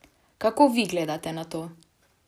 Kako vi gledate na to?